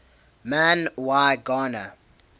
man y gana